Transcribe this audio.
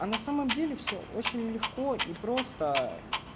а на самом деле все очень легко и просто